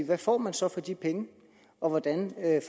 hvad får man så for de penge og hvordan er